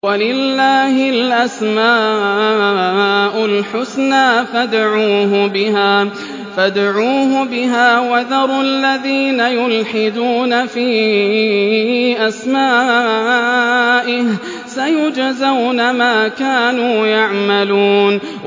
وَلِلَّهِ الْأَسْمَاءُ الْحُسْنَىٰ فَادْعُوهُ بِهَا ۖ وَذَرُوا الَّذِينَ يُلْحِدُونَ فِي أَسْمَائِهِ ۚ سَيُجْزَوْنَ مَا كَانُوا يَعْمَلُونَ